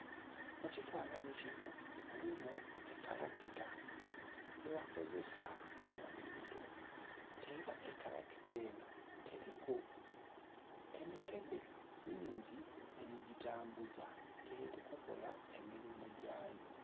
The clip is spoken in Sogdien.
Mu kifananhi kinho mulimu ekalakita gyebakozesa mu nhimiro era ekalakita enho eriku emikedhe mingi egi gitambuza eri kukola emirimo gyaayo.